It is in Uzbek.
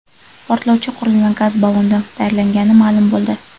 Portlovchi qurilma gaz ballondan tayyorlangani ma’lum bo‘ldi.